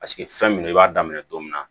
Paseke fɛn min don i b'a daminɛ don min na